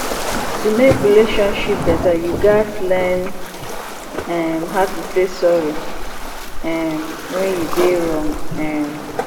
to mek relationship beta yu gats learn um how to say sorry um wen yu dey wrong um